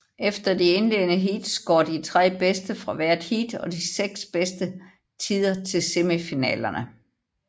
Efter de indledende heats går de tre bedste fra hvert heat og de seks bedste tider til semifinalerne